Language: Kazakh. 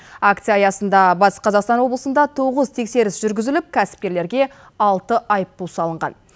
акция аясында батыс қазақстан облысында тоғыз тексеріс жүргізіліп кәсіпкерлерге алты айыппұл салынған